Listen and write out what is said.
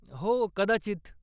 हो, कदाचित.